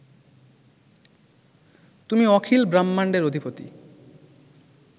তুমি অখিল ব্রাহ্মাণ্ডের অধিপতি